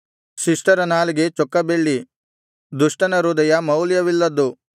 ಶಿಷ್ಟರ ನಾಲಿಗೆ ಚೊಕ್ಕ ಬೆಳ್ಳಿ ದುಷ್ಟನ ಹೃದಯ ಮೌಲ್ಯವಿಲ್ಲದ್ದು